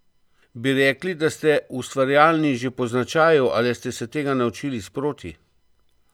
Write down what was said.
Bi rekli, da ste ustvarjalni že po značaju ali ste se tega naučili sproti?